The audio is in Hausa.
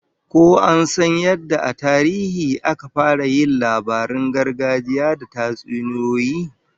Ko an san yadda a tarihi aka fara yin labaran gargajiya da tatsuniyoyi?